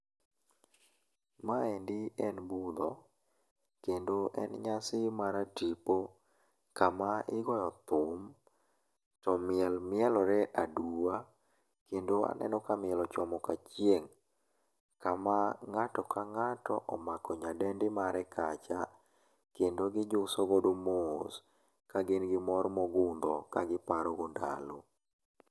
Maendi en budho kendo en nyasi maratipo kama igoyo thum, to miel mielore aduwa, kendo naneno ka miel ochomo kachieng' kama ng'ato ka ng'ato omako nyadendi mare kacha kendo gijuso godo mos ka gin gi mor mogundho kagiparo go ndalo.